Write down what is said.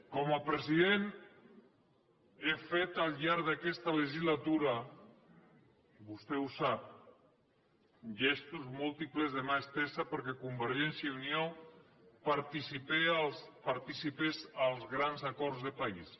com a president he fet al llarg d’aquesta legislatura vostè ho sap gestos múltiples de mà estesa perquè convergència i unió participés als grans acords de país